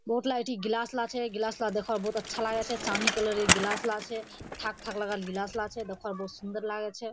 बोहत लागए छै ग्लास लाग छै ग्लास ला देखा बोहत अच्छा लागे छै चाँदी कलर के ग्लास लागे छै फक-फक लगल ग्लास लाग छै दोकान बहुत सुन्दर लागे छै।